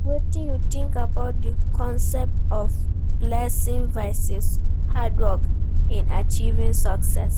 Wetin you think about di concept of blessing vs. hard work in achieving success?